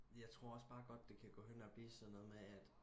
jeg tror også bare godt at det kan gå hen og blive sådan noget med at